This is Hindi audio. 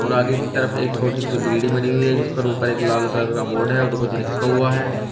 आगे की तरफ एक छोटी सी बिल्डिंग बनी हुई है जिस पर ऊपर एक लाल कलर का बोर्ड है और कुछ लिखा हुआ है।